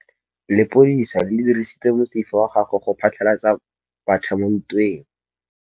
Lepodisa le dirisitse mosifa wa gagwe go phatlalatsa batšha mo ntweng.